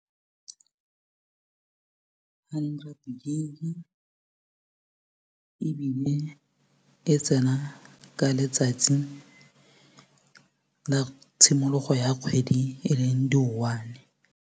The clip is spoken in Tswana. Hundred gig ebile e tsena ka letsatsi la tshimologo ya kgwedi e leng di-one.